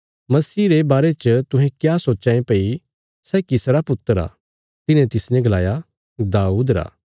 मसीह रे बारे च तुहें क्या सोच्चां ये भई सै किसरा पुत्र आ तिन्हे तिसने गलाया दाऊद रा वंशज